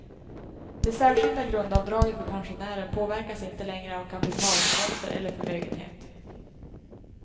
Det särskilda grundavdraget för pensionärer påverkas inte längre av kapitalinkomster eller förmögenhet.